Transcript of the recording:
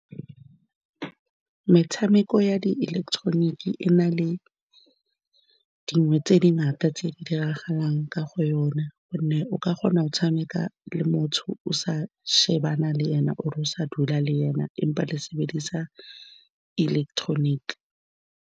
Metshameko ya diiletetoniki e na le dingwe tse di ngata tse di diragalang ka ga yona ka gonne o ka kgona go tshameka le motho o sa shebana le ena or-e o sa dula le ene empa le sebedisa ileketoroniki.